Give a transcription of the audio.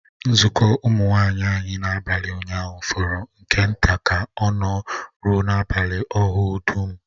Nzukọ Ụmụ nwanyị anyị n'abalị ụnyaahụ fọrọ nke nta ka ọ nọ rụọ n'abalị ahụ dum